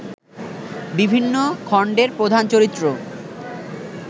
বিভিন্ন খণ্ডের প্রধান চরিত্র